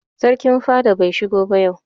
Sarkin fada bai shigo ba yau.